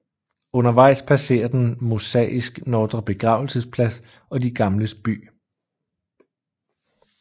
Undervejs passerer den Mosaisk Nordre Begravelsesplads og De Gamles By